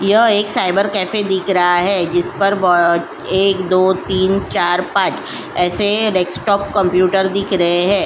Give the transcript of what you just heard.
यह एक cyber cafe दिख रहा है जिस पर एक दो तीन चार पांच ऐसे डेस्कटॉप कंप्यूटर दिख रहें हैं।